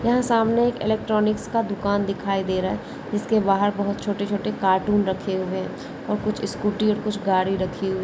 यह सामने एक इलेक्ट्रॉनिस का दुकान दिखाई दे रहा है जिसके बहार बहोत छोटे छोटे कार्टून रखे हुए और कुछ स्कूटी कुछ गाड़ी रखी हुई --